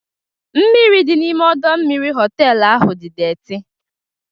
Mmiri dị n'ime ọdọ mmiri họtelu ahụ dị deeti.